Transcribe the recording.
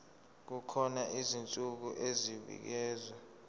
kukhona izinsuku ezibekiwe